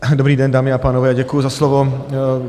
Dobrý den, dámy a pánové, děkuji za slovo.